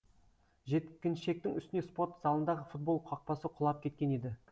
жеткіншектің үстіне спорт залындағы футбол қақпасы құлап кеткен еді